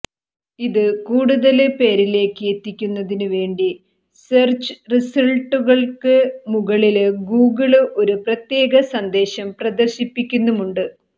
ഇത് കൂടുതല് പേരിലേക്ക് എത്തുന്നതിന് വേണ്ടി സെര്ച്ച് റിസള്ട്ടുകള്ക്ക് മുകളില് ഗൂഗിള് ഒരു പ്രത്യേക സന്ദേശം പ്രദര്ശിപ്പിക്കുന്നുമുണ്ട്